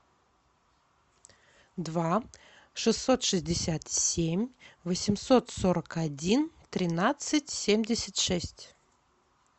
два шестьсот шестьдесят семь восемьсот сорок один тринадцать семьдесят шесть